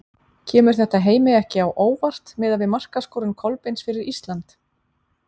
Kemur þetta Heimi ekki á óvart miðað við markaskorun Kolbeins fyrir Ísland?